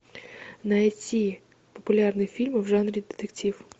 найти популярный фильм в жанре детектив